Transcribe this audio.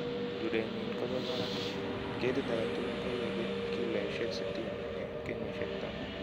Rurenyin kobo barak. Ketit agetugul koiye kiloisiek sitini en kenyisiek taman